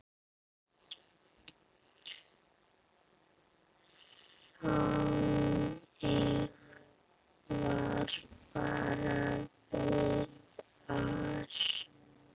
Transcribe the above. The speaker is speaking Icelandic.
Þannig var bara Viðar.